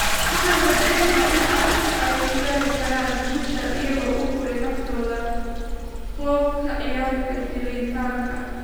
Waxaan rajeyneynaa in carruurtan ay ku gaari karaan guushan iyagoo u huray naftooda; qoob ka ciyaarka iyo jilitaanka."